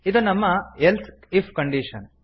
ಇದು ನಮ್ಮ else if condition